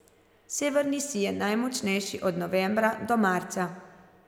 Severni sij je najmočnejši od novembra do marca.